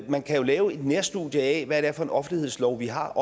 man kan jo lave et nærstudie af hvad det er for en offentlighedslov vi har